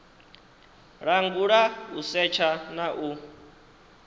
langula u setsha na u